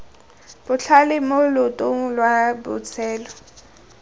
botlhale mo loetong lwa botshelo